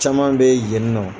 Caman bɛ yen ni nɔn